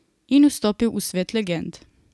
In vstopil v svet legend.